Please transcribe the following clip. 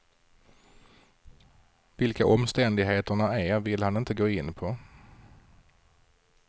Vilka omständigheterna är vill han inte gå in på.